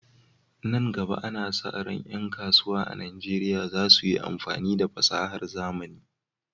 Nan gaba, ana sa ran ƴan kasuwa a Najeriya za su yi amfani da fasahar zamani